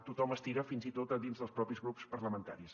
tothom estira fins i tot dins dels propis grups parlamentaris